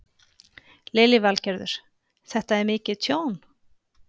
Lillý Valgerður: Þetta er mikið tjón?